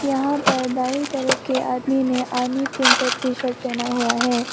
यहां पर दाइ तरफ के आदमी ने आर्मी प्रिंटेड टीशर्ट पहना हुआ है।